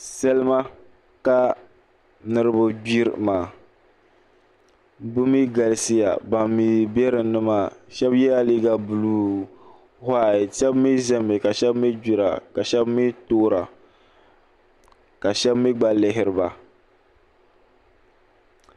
Salima ka niraba gbiri maa bi mii galisiya ban mii bɛ dinni maa shab yɛla liiga buluu whait shab mii ʒɛmi ka shab mii gbira ka shab mii toora ka shab mii gba lihiriba